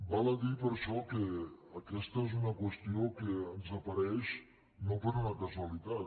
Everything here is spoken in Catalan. val a dir per això que aquesta és una qüestió que ens apareix no per una casualitat